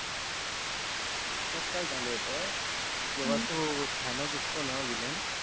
त्यात काय झालं होतं जेव्हा तो thanos असतोना vlain